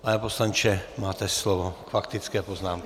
Pane poslanče, máte slovo k faktické poznámce.